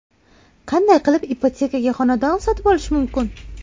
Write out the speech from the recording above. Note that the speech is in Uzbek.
Qanday qilib ipotekaga xonadon sotib olish mumkin?.